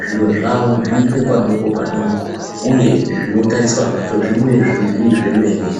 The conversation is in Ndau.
zviro zvawo zviitwe padoko padoko uye zvinotariswa zvacho zvibude zviri zvemene.